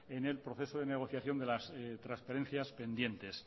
en el proceso de negociación de las transferencias pendientes